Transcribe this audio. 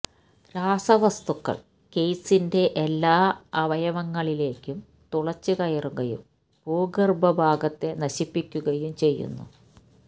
രാസവസ്തുക്കൾ കെയ്സിന്റെ എല്ലാ അവയവങ്ങളിലേക്കും തുളച്ചുകയറുകയും ഭൂഗർഭ ഭാഗത്തെ നശിപ്പിക്കുകയും ചെയ്യുന്നു